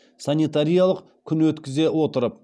санитариялық күн өткізе отырып